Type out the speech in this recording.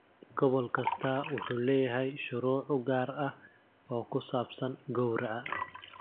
Gobol kastaa wuxuu leeyahay shuruuc u gaar ah oo ku saabsan gawraca.